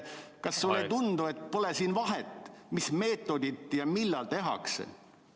Kas sulle ei tundu, et siin pole vahet, mis meetodil ja millal tehakse?